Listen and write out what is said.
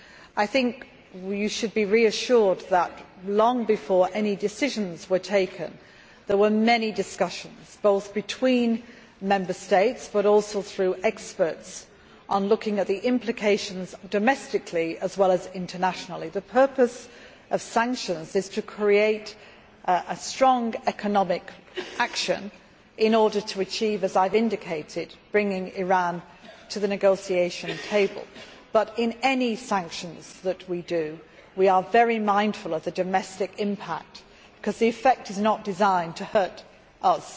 I think you should be reassured that, long before any decisions were taken, there were many discussions, between Member States but also through experts, on looking at the implications, domestically as well as internationally. The purpose of sanctions is to create a strong economic action in order, as I have indicated, to succeed in bringing Iran to the negotiation table. But, in any sanctions that we introduce, we are very mindful of the domestic impact because the effect is not designed to hurt us.